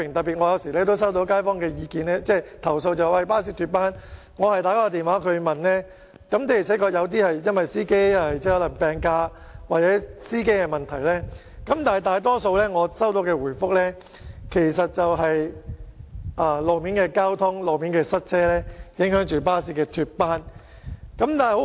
有時候，我也收到街坊投訴巴士脫班的個案，我也曾致電查詢，有些情況確是因為司機請病假或司機本身的問題所致，但在我收到的回覆中，大多數原因是路面交通情況或塞車令巴士脫班。